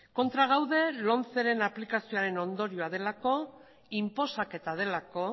kontra gaude lomceren aplikazioaren ondorioa delako inposaketa delako